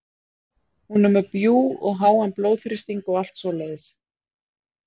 Hún er með bjúg og háan blóðþrýsting og allt svoleiðis.